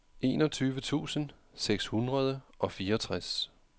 enogtyve tusind seks hundrede og fireogtres